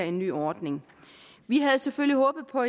en ny ordning vi havde selvfølgelig håbet på